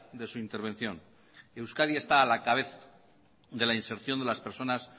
de su intervención euskadi está a la cabeza de la inserción de las personas